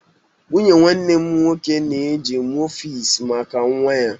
Nwunye nwanne m nwoke na-eji mufies maka nwa ya.